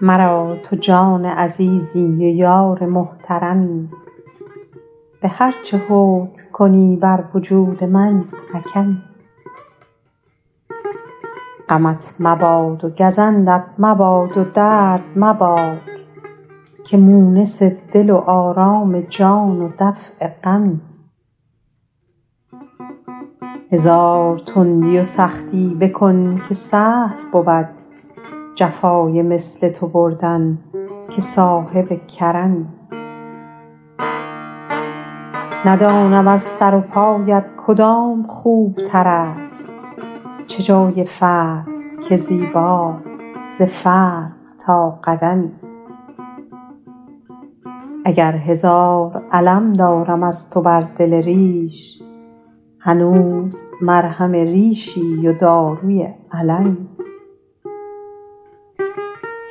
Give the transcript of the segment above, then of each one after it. مرا تو جان عزیزی و یار محترمی به هر چه حکم کنی بر وجود من حکمی غمت مباد و گزندت مباد و درد مباد که مونس دل و آرام جان و دفع غمی هزار تندی و سختی بکن که سهل بود جفای مثل تو بردن که سابق کرمی ندانم از سر و پایت کدام خوبتر است چه جای فرق که زیبا ز فرق تا قدمی اگر هزار الم دارم از تو بر دل ریش هنوز مرهم ریشی و داروی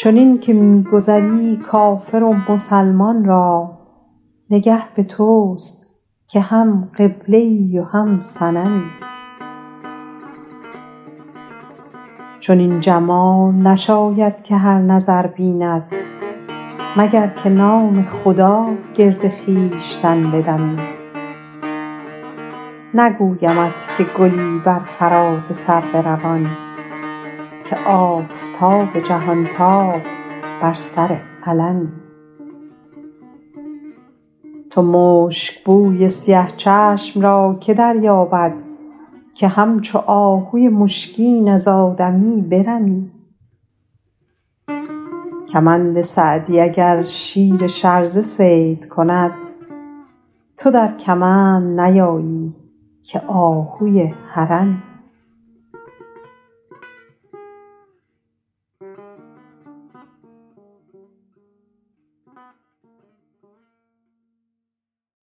المی چنین که می گذری کافر و مسلمان را نگه به توست که هم قبله ای و هم صنمی چنین جمال نشاید که هر نظر بیند مگر که نام خدا گرد خویشتن بدمی نگویمت که گلی بر فراز سرو روان که آفتاب جهانتاب بر سر علمی تو مشکبوی سیه چشم را که دریابد که همچو آهوی مشکین از آدمی برمی کمند سعدی اگر شیر شرزه صید کند تو در کمند نیایی که آهوی حرمی